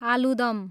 आलुदम